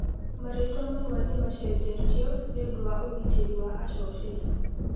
Marĩtwa mamwe Nĩmaacenjetio nĩũndũ wa ũgitĩri wa acoceri.